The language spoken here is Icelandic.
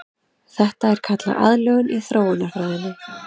Þetta er kallað aðlögun í þróunarfræðinni.